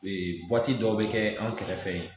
Ee dɔw bɛ kɛ an kɛrɛfɛ